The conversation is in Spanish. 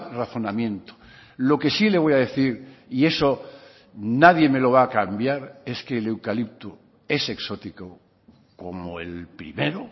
razonamiento lo que sí le voy a decir y eso nadie me lo va a cambiar es que el eucalipto es exótico como el primero